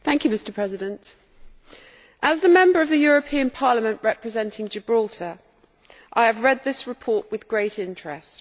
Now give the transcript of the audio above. Mr President, as the Member of the European Parliament representing Gibraltar, I have read this report with great interest.